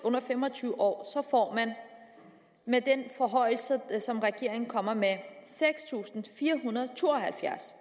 under fem og tyve år får man med den forhøjelse som regeringen kommer med seks tusind fire hundrede og to og halvfjerds